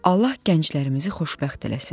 Allah gənclərimizi xoşbəxt eləsin.